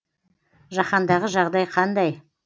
жаһандағы жағдай қандай